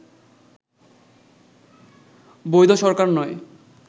বৈধ সরকার নয়